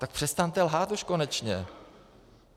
Tak přestaňte lhát už konečně.